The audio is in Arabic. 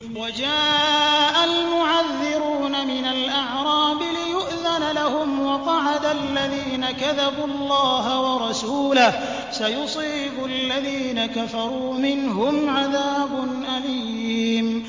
وَجَاءَ الْمُعَذِّرُونَ مِنَ الْأَعْرَابِ لِيُؤْذَنَ لَهُمْ وَقَعَدَ الَّذِينَ كَذَبُوا اللَّهَ وَرَسُولَهُ ۚ سَيُصِيبُ الَّذِينَ كَفَرُوا مِنْهُمْ عَذَابٌ أَلِيمٌ